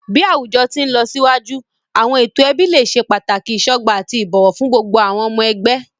Bi awujọ ti nlọsiwaju, awọn eto ẹbi le ṣe pataki isọgba ati ibowo fun gbogbo awọn ọmọ ẹgbẹ.